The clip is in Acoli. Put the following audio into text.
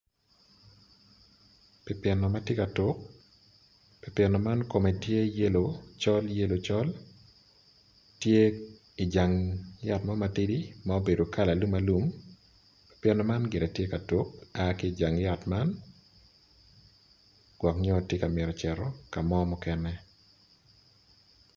Pipino matye ka tuk pipino man kome tye ma yellow col yellow col tye i jang yat mo matidi ma obedo kala alum alum pjpino ma gire tye ka tuk aa ki jang yat man gwok nyo tye ka mito cito kamo mukene.